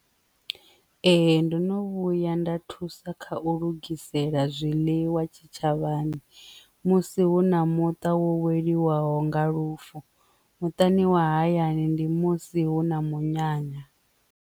Ee, ndo no vhuya nda thusa kha u lugisela zwiḽiwa tshitshavhani musi hu na muṱa welwaho nga lufu, muṱani wa hayani ndi musi hu na munyanya.